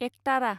एकतारा